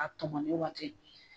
A tɔmɔnɔ waati